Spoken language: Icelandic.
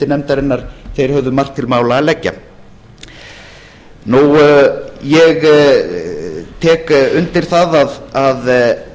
nefndarinnar þeir höfðu margt til mála að leggja ég tek undir það að